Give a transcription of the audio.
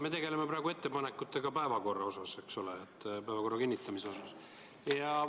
Me tegeleme praegu ettepanekutega päevakorra kohta, eks ole, päevakorra kinnitamisega.